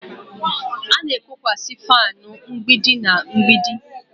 A na-ekokwasị fanu mgbidi na mgbidi